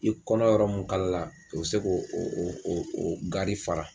I kɔnɔ yɔrɔ mun kalala o bɛ se k'o o o o o gari fara.